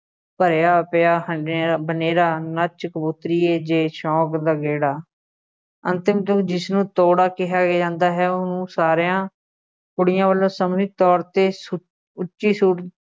ਭਰਿਆ ਪਿਆ ਹਨੇ~ ਬਨੇਰਾ, ਨੱਚ ਕਬੂਤਰੀਏ ਜੇ ਸੌਂਕ ਦਾ ਗੇੜਾ, ਅੰਤਿਮ ਤੂੰ ਜਿਸਨੂੰ ਤੋੜਾ ਕਿਹਾ ਜਾਂਦਾ ਹੈ ਉਹਨੂੰ ਸਾਰਿਆ ਕੁੜੀਆਂ ਵੱਲੋਂ ਸਾਂਝੀ ਤੌਰ 'ਤੇ ਸੁਰ ਉੱਚੀ ਸੁਰ